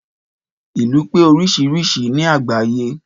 Ìlú pé oríṣiríṣi ni àgbáyé